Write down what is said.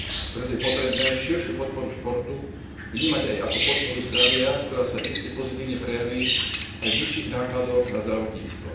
Preto je potrebné širšiu podporu športu vnímať aj ako podporu zdravia, ktorá sa iste pozitívne prejaví aj v nižších nákladoch na zdravotníctvo.